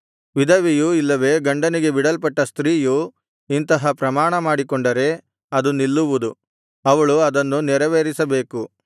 ವಿಧವೆಯು ಇಲ್ಲವೆ ಗಂಡನಿಂದ ಬಿಡಲ್ಪಟ್ಟ ಸ್ತ್ರೀಯು ಇಂತಹ ಪ್ರಮಾಣಮಾಡಿಕೊಂಡರೆ ಅದು ನಿಲ್ಲುವುದು ಅವಳು ಅದನ್ನು ನೆರವೇರಿಸಬೇಕು